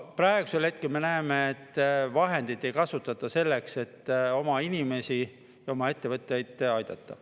Praegu me näeme, et vahendeid ei kasutata selleks, et oma inimesi ja oma ettevõtteid aidata.